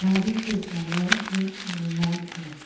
गाड़ी के colour red और वाइट है।